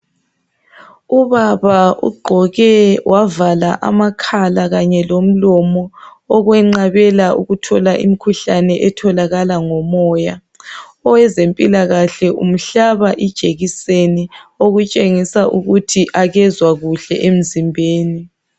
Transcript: Ubaba ugqoke wavaka amakhaka kanye lomlomo. Okwenqabela ukuthola imikhuhlane etholakalala ngomoya. Owezempilakahle umhlaba ijekiseni. Okutshengisa ukuthi akezwa kuhle emzimbeni,